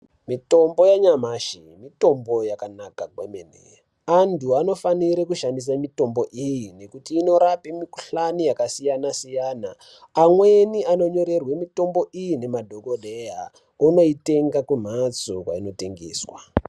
Mitombo yanyamashi mitombo yakanaka kwemene, antu anofanire kushandise mitombo iyi ngekuti inorape mikhuhlane yakasiyana -siyana, amweni anonyorerwe mitombo iyi ngemadhokodheya onoitenga kumhatso kwainotengeswa.